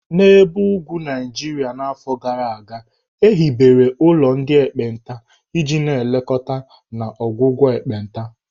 N'ebe ugwu Naijiria afọ gara aga, e hibere ụlọ ndị ekpenta iji na-elekọta na ọgwụgwọ ekpenta.